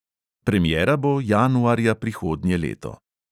Premiera bo januarja prihodnje leto.